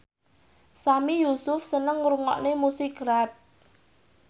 Sami Yusuf seneng ngrungokne musik rap